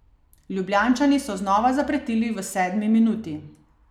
Ljubljančani so znova zapretili v sedmi minuti.